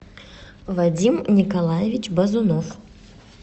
вадим николаевич базунов